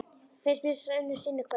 Finnst sá er unnir sinni kvöl?